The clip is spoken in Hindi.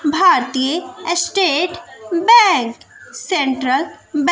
भारतीय स्टेट बैंक सेंट्रल बैं--